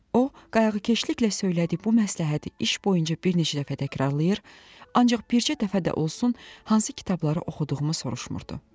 O, qayğıkeşliklə söylədiyi bu məsləhəti iş boyunca bir neçə dəfə təkrarlayır, ancaq bircə dəfə də olsun hansı kitabları oxuduğumu soruşmurdu.